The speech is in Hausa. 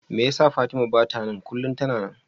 Me yasa Fatima bata nan? kullum tana nan.